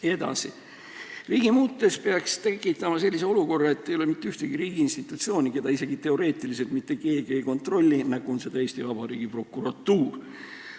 Edasi, riiki muutes peaks tekitama sellise olukorra, et ei ole mitte ühtegi riigiinstitutsiooni, mida isegi teoreetiliselt mitte keegi ei kontrolli, nagu on seda praegu Eesti Vabariigi prokuratuur.